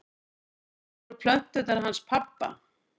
Það voru plöturnar hans pabba.